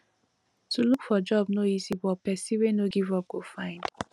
to look for job no easy but pesin wey no give up go find